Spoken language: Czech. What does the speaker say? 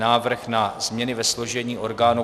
Návrh na změny ve složení orgánů